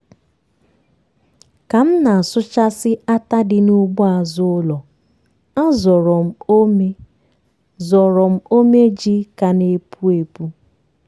ka m na-asụchasị átá dị n'ugbo azụ ụlọ a zọrọ m ómé zọrọ m ómé ji ka na-epu epu.